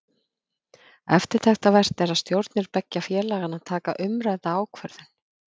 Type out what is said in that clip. Eftirtektarvert er að stjórnir beggja félaganna taka umrædda ákvörðun.